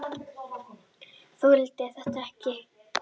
Þoldi þetta ekki!